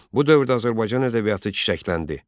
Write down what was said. Bu dövrdə Azərbaycan ədəbiyyatı çiçəkləndi.